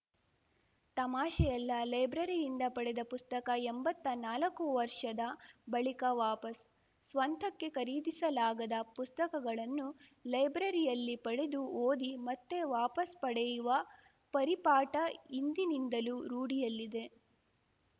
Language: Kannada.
ತಮಾಷೆಯಲ್ಲ ಲೈಬ್ರರಿಯಿಂದ ಪಡೆದ ಪುಸ್ತಕ ಎಂಬತ್ತಾ ನಾಲ್ಕು ವರ್ಷದ ಬಳಿಕ ವಾಪಸ್‌ ಸ್ವಂತಕ್ಕೆ ಖರೀದಿಸಲಾಗದ ಪುಸ್ತಕಗಳನ್ನು ಲೈಬ್ರರಿಯಲ್ಲಿ ಪಡೆದು ಓದಿ ಮತ್ತೆ ವಾಪಸ್‌ ಪಡೆಯುವ ಪರಿಪಾಠ ಹಿಂದಿನಿಂದಲೂ ರೂಢಿಯಲ್ಲಿದೆ